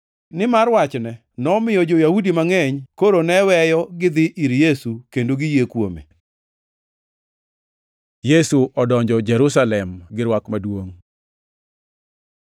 nimar wachne nomiyo jo-Yahudi mangʼeny koro ne weyogi dhi ir Yesu kendo giyie kuome. Yesu odonjo Jerusalem gi rwak maduongʼ